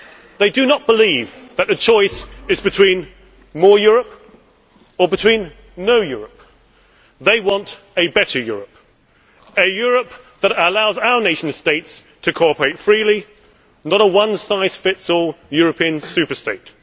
They do not believe that the choice is between more Europe or no Europe they want a better Europe, a Europe that allows our nation states to cooperate freely and not a one size fits all European super state